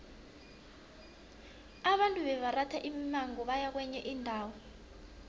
abantu bebaratha imimango nabaya kwenye indawo